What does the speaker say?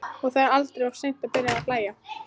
Og það er aldrei of seint að byrja að hlæja.